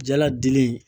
Jala dili